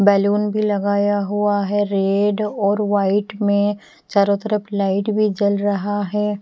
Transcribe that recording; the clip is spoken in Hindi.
बैलून भी लगाया हुआ है रेड और वाइट में चारों तरफ लाइट भी जल रहा है।